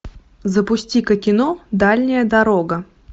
запусти ка кино дальняя дорога